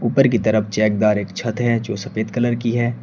ऊपर की तरफ चेकदार एक छत है जो सफेद कलर की है।